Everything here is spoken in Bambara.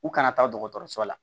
U kana taa dɔgɔtɔrɔso la